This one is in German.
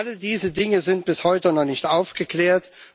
Alle diese Dinge sind bis heute noch nicht aufgeklärt.